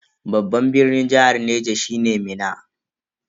Babban birnin jihar Niger shine Minna.